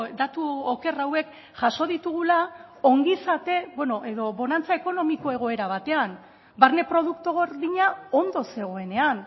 datu oker hauek jaso ditugula ongizate edo bonantza ekonomiko egoera batean barne produktu gordina ondo zegoenean